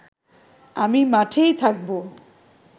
আমি মাঠেই থাকব